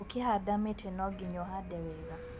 Ũkĩhanda mĩtĩ no ginya ũhande wega.